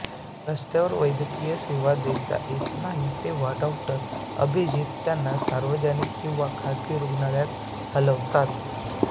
रस्त्यावर वैद्यकीय सेवा देता येत नाही तेव्हा डॉ अभिजित त्यांना सार्वजनिक किंवा खासगी रुग्णालयात हलवतात